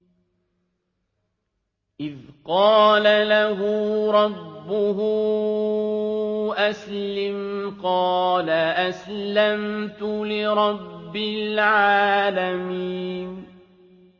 إِذْ قَالَ لَهُ رَبُّهُ أَسْلِمْ ۖ قَالَ أَسْلَمْتُ لِرَبِّ الْعَالَمِينَ